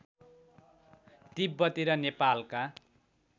तिब्बती र नेपालका